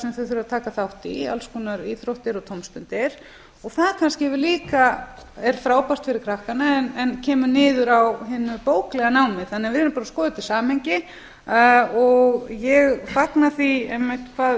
sem þau þurfa að taka þátt í alls konar íþróttir og tómstundir það kannski líka er frábært fyrir krakkana en kemur niður á hinu bóklega námi þannig að við verðum bara að skoða þetta í samhengi ég fagna því einmitt hvað